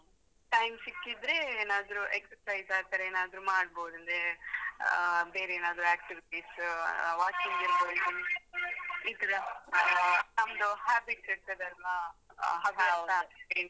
Time ಸಿಕ್ಕಿದ್ರೇ ಏನಾದ್ರು exercise ಆತರ ಏನಾದ್ರು ಮಾಡ್ಬೋದ್‌ ಅಂದ್ರೇ ಆ ಬೇರೆ ಏನಾದ್ರು activities , walking ಈತರ ಆ ನಮ್ದು habits ಇರ್ತದಲ್ವಾ ಹವ್ಯಾಸ.